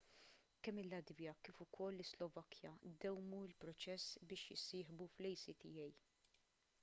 kemm il-latvja kif ukoll is-slovakkja dewwmu l-proċess biex jissieħbu fl-acta